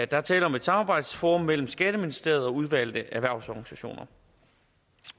der er tale om et samarbejdsforum mellem skatteministeriet og udvalgte erhvervsorganisationer